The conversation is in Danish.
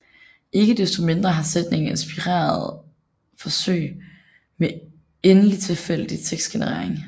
Ikke desto mindre har sætningen inspireret forsøg med endelig tilfældig tekstgenerering